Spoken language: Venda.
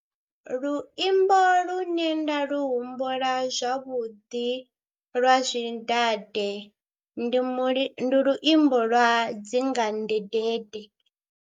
Luimbo lune nda lu humbula zwavhuḓi lwa zwidade ndi muli, ndi luimbo lwa dzinga ndedede.